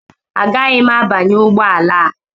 Agaghị m abanye ụgbọ ala a